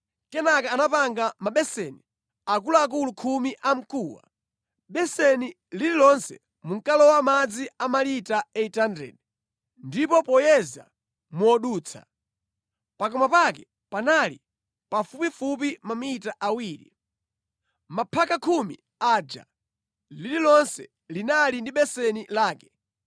Kenaka anapanga mabeseni akuluakulu khumi a mkuwa; beseni lililonse munkalowa madzi a malita 800, ndipo poyeza modutsa, pakamwa pake panali pafupifupi mamita awiri. Maphaka khumi aja, lililonse linali ndi beseni lake.